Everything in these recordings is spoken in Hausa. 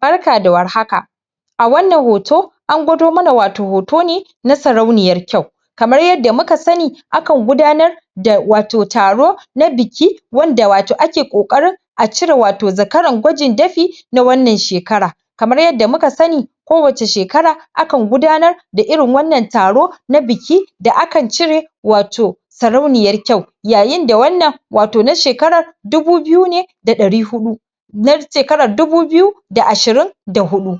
Barka da warhaka a wannan hoto an gwado mana wato hoto ne na sarauniyar kyau kamar yadda muka sani akan gudanar da wato taro na biki wanda wato ake ƙoƙarin a cire wato zakaran gwajin dafi na wannan shekara kamar yadda muka sani ko wacce shekara akan gudanar da irin wannan taro na biki da aka cire wato sarauniyar kyau yayin da wannan wato na shekarar dubu biyu ne da ɗari huɗu na shekarar dubu biyu da ashirin da huɗu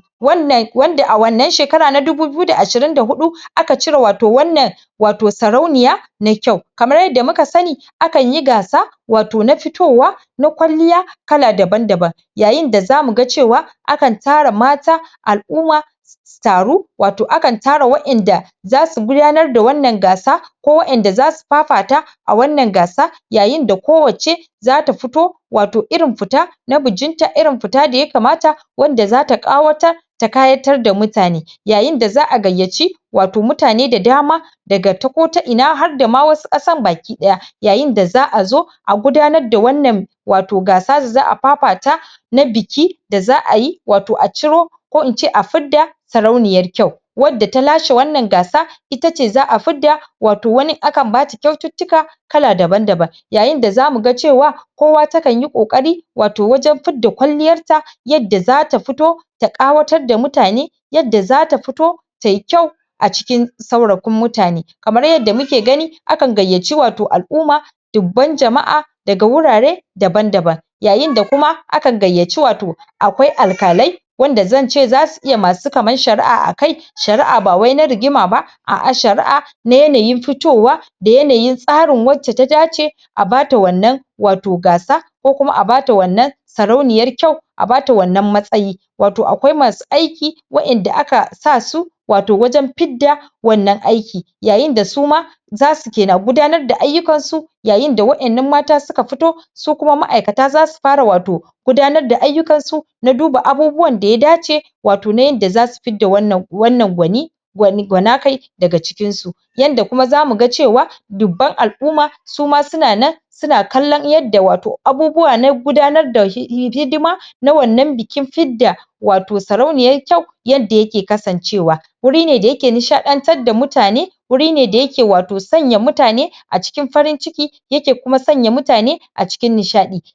wanda a wannan shekara na dubu biyu da ashirin da huɗu aka cire wato wannan wato sarauniya na kyau kamar yadda muka sani akan yi gasa wato na fitowa na kwalliya kala daban-daban yayin da zamu ga cewa akan tara mata al'umma su taru wato akan tara waƴanda zasu gudanar da wannan gasa ko waƴanda zasu fafata a wannan gasa yayin da kowacce zata fito wato irin fita na bajinta, irin fita da yakamata wanda zata ƙawatar ta ƙayatar da mutane yayin da za'a gayyaci wato mutane da dama daga ta ko ta ina har da ma wasu ƙasan bakiɗaya yayin da za'a zo a gudanar da wannan wato gasa da za'a fafata na biki da za'a yi, wato a ciro ko'ince a fidda sarauniyar kyau wanda ta lashe wannan gasa ita ce za'a fidda wato wani akan ma ci kyaututtuka kala daban-daban yayin da zamu ga cewa kowa ta kan yi ƙoƙari wato wajen fidda kwalliyar ta yadda zata fito da ƙawatar da mutane yadda zata fito tayi kyau a cikin saurafin mutane kamar yadda muke gani akan gayyaci wato al'umma dubban jama'a daga wurare daban-daban yayin da kuma akan gayyaci wato akwai alƙalai wanda zance zasu iya masu kaman shari'a akai shari'a ba wai na rigima ba a'a shari'a na yanayin fitowa da yanayin tsarin wacce ta dace a bata wannan wato gasa ko kuma a bata wannan sarauniyar kyau a bata wannan matsayi wato akwai masu aiki waƴanda aka sa su wato wajen fidda wannan aiki yayin da su ma zasu ke na gudanar da ayyukan su yayin da waƴannan mata su ka fito su kuma ma'aikata zasu fara wato gudanar da ayyukan su na duba abubuwan da ya dace wato na yanda zasu fidda wannan gwani wani gwana kai daga cikin su yanda kuma zamu ga cewa dubban al'umma su ma suna nan suna kallon yadda wato abubuwa na gudanar da hidima na wannan bikin fidda wato sarauniyar kyau yadda yake kasancewa wuri ne da yake nishaɗantar da mutane wuri da yake wato sanya mutane a cikin farin ciki yake kuma sanya mutane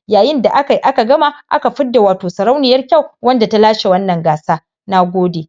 yayin da akai aka gama aka fidda wato sarauniyar kyau wanda ta lashe wannan gasa na gode.